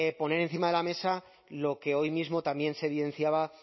poner encima de la mesa lo que hoy mismo también se evidenciaba